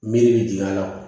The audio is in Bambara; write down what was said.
Miiri be jɔ a la